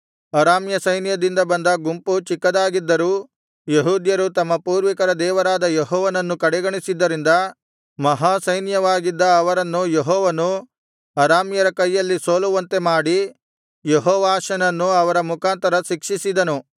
ಅರಾಮ್ಯ ಸೈನ್ಯದಿಂದ ಬಂದ ಗುಂಪು ಚಿಕ್ಕದಾಗಿದ್ದರೂ ಯೆಹೂದ್ಯರು ತಮ್ಮ ಪೂರ್ವಿಕರ ದೇವರಾದ ಯೆಹೋವನನ್ನು ಕಡೆಗಣಿಸಿದ್ದರಿಂದ ಮಹಾಸೈನ್ಯವಾಗಿದ್ದ ಅವರನ್ನು ಯೆಹೋವನು ಅರಾಮ್ಯರ ಕೈಯಲ್ಲಿ ಸೋಲುವಂತೆ ಮಾಡಿ ಯೆಹೋವಾಷನನ್ನು ಅವರ ಮುಖಾಂತರ ಶಿಕ್ಷಿಸಿದನು